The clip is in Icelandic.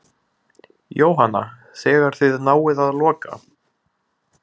Jóhanna: Þegar þið náið að loka?